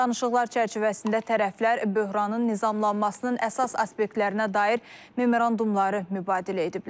Danışıqlar çərçivəsində tərəflər böhranın nizamlanmasının əsas aspektlərinə dair memorandumları mübadilə ediblər.